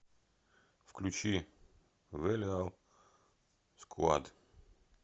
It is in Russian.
включи вэлиал сквад